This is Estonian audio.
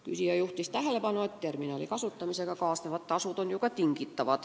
Küsija juhtis tähelepanu, et terminali kasutamise tasude üle annab ju tingida.